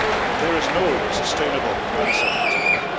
There is no sustainable answer to this.